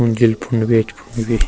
मंजिल फुण्ड भी यख फुण्ड भी।